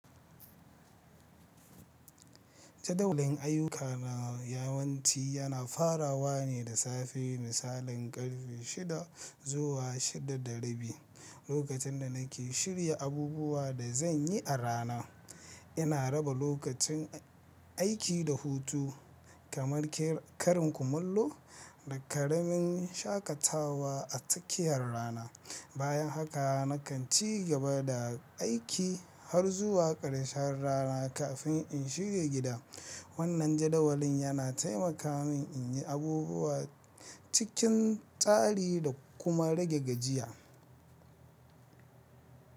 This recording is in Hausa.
Jadawalin ayuka na yawanci yana farawa ne da safe, misalin karfe shida zuwa shida da rabi, lokacin da nake shirya abubuwan da zan yi a rana. Ina raba lokacin aiki da hutu, kamar ƙarin kumallo da ƙaramin shaƙatawa a tsakiyar rana. Bayan haka nakan ci gaba da aiki har zuwa ƙarshen rana kafin in shige gida. Wannan jadawalin yana taimaka min in yi abubuwa cikin tsari da kuma rage gajiya.